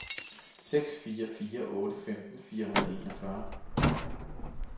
seks fire fire otte femten fire hundrede og enogfyrre